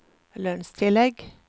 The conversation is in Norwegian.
lønnstillegg